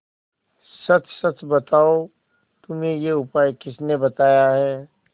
सच सच बताओ तुम्हें यह उपाय किसने बताया है